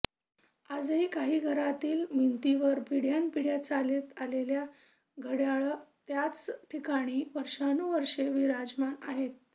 आजही काही घरातील भिंतींवर पिढय़ान् पिढय़ा चालत आलेली घडय़ाळं त्याच ठिकाणी वर्षानुवर्षे विराजमान आहेत